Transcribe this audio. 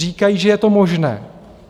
Říkají, že je to možné.